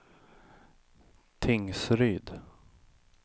Tingsryd